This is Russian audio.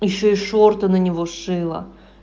ещё и шорты на него шила